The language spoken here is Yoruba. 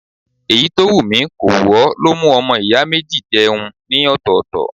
Èyí tó wù mi kò wù ó ló mú ọmọ ìyá méjì jẹun ní ọ̀tọ̀ọ̀tọ̀.